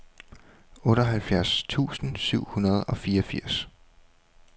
otteoghalvfjerds tusind syv hundrede og fireogfirs